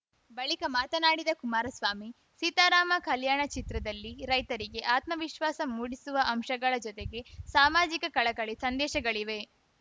ಬಳಿಕ ಮಾತನಾಡಿದ ಕುಮಾರಸ್ವಾಮಿ ಸೀತಾರಾಮ ಕಲ್ಯಾಣ ಚಿತ್ರದಲ್ಲಿ ರೈತರಿಗೆ ಆತ್ಮವಿಶ್ವಾಸ ಮೂಡಿಸುವ ಅಂಶಗಳ ಜತೆಗೆ ಸಾಮಾಜಿಕ ಕಳಕಳಿ ಸಂದೇಶಗಳಿವೆ